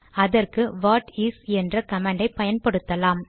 அதற்கு what is என்ற கமாண்டை பயன்படுத்தலாம்